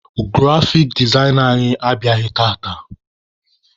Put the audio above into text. Grafik dezaina anyị abịaghị tata.